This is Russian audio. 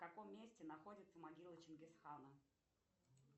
в каком месте находится могила чингисхана